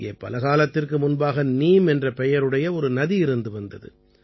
இங்கே பலகாலத்திற்கு முன்பாக நீம் என்ற பெயருடைய ஒரு நதி இருந்து வந்தது